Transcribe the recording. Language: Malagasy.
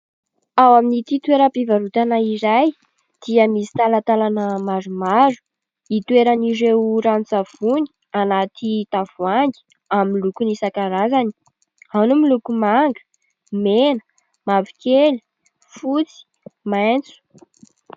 Ao amin'ity toeram-pivarotana iray dia misy talantalana maromaro hitoeran'ireo ranon-tsavony anaty tavoahangy amin'ny lokony isan-karazany ao ny miloko manga, mena, mavokely, fotsy, maitso.